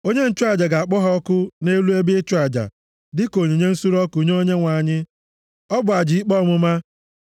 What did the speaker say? Onye nchụaja ga-akpọ ha ọkụ nʼelu ebe ịchụ aja dịka onyinye nsure ọkụ nye Onyenwe anyị. Ọ bụ aja ikpe ọmụma.